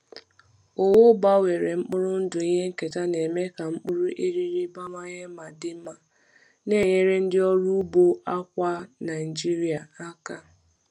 Owu gbanwere mkpụrụ ndụ ihe nketa na-eme ka mkpụrụ eriri bawanye ma dị mma, na-enyere ndị ọrụ ugbo akwa Naijiria aka.